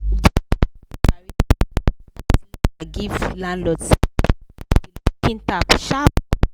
the ten ant barista write letter give landlord say make e fix the leaking tap sharp sharp.